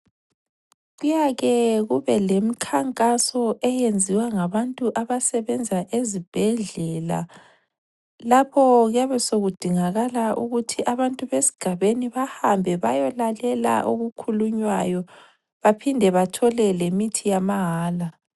Kuyake kubelemikhankaso eyenziwa ngabantu abasebenza ezibhedlela, lapho kuyabe sekudingakala ukuthi abantu besigabeni bahambe bayolalela okukhulunywayo baphinde bathole lemithi yamahala.